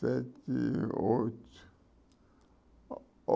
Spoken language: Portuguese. Sete, oito.